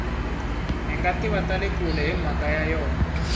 hingativa tale kule himhaka ya yona